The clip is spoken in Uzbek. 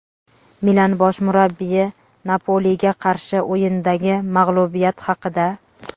"Milan" bosh murabbiyi "Napoli"ga qarshi o‘yindagi mag‘lubiyat haqida;.